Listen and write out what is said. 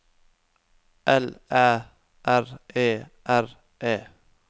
L Æ R E R E